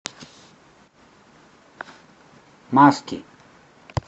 маски